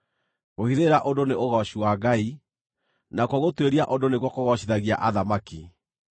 Kũhithĩrĩra ũndũ nĩ ũgooci wa Ngai; nakuo gũtuĩria ũndũ nĩkuo kũgoocithagia athamaki.